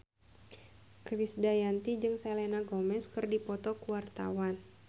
Krisdayanti jeung Selena Gomez keur dipoto ku wartawan